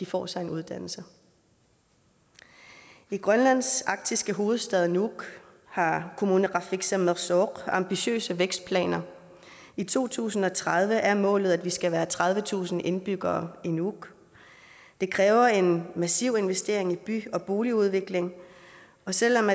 får sig en uddannelse i grønlands arktiske hovedstad nuuk har kommuneqarfik sermersooq ambitiøse vækstplaner i to tusind og tredive er målet at vi skal være tredivetusind indbyggere i nuuk det kræver en massiv investering i by og boligudvikling og selv om